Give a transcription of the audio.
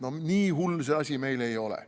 No nii hull see asi meil ei ole.